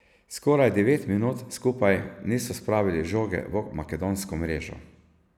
Skoraj devet minut skupaj niso spravili žoge v makedonsko mrežo.